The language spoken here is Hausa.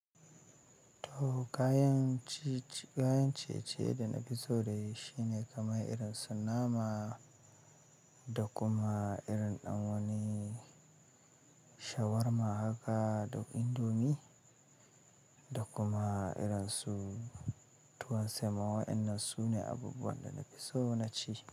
To kayan ci, kayan ciye-ciye da na fi so da yi shine kamar irin su nama da kuma irin dan wani shawarma haka da kuma indomie da kuma irin su tuwon semo. Wannan su ne abubuwan da na fi so na ci.